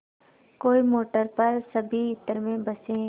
कोई मोटर पर सभी इत्र में बसे